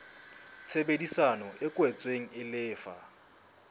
tshebedisano e kwetsweng e lefa